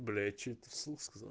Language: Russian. бля я что это вслух сказал